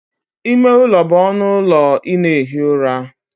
Ime ụlọ bụ ọnụ ụlọ ị na-ehi ụra.